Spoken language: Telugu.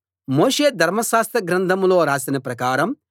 మోషే ధర్మశాస్త్రగ్రంథంలో రాసిన ప్రకారం